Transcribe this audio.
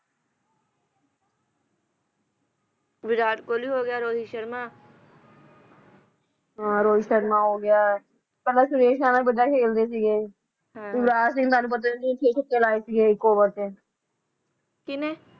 ਵਿਰਾਟ ਕੋਹਲੀ ਹੋ ਗਿਆ ਰੋਹਿਤ ਸ਼ਰਮਾ ਹਾਂ ਰੋਹਿਤ ਸ਼ਰਮਾ ਹੋ ਗਿਆ ਪਹਿਲਾਂ ਸੁਰੇਸ਼ ਰੈਨਾ ਵਧੀਆ ਖੇਲਦੇ ਸੀਗੇ ਯੁਵਰਾਜ ਸਿੰਘ ਦਾ ਤਾਂ ਤੈਨੂੰ ਪਤਾ ਛੇ ਛੱਕੇ ਲਾਏ ਸੀਗੇ ਇੱਕ ਓਵਰ ਚ ਕੀਨੇ?